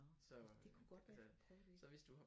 Nåh det kunne godt være jeg skulle prøve det